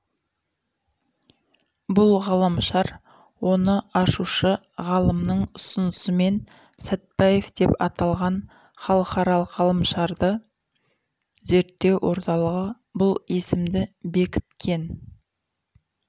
бұл ғаламшар оны ашушы ғалымның ұсынысымен сәтбаев деп аталған халықаралық ғаламшарларды зерттеу орталығы бұл есімді бекіткен